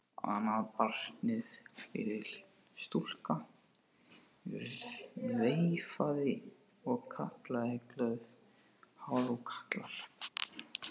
Annað barnið, lítil stúlka, veifaði og kallaði glöð: Halló kallar!